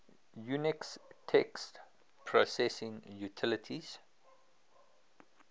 unix text processing utilities